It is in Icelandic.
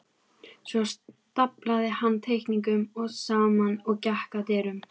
Svo staflaði hann teikningunum saman og gekk að dyrunum.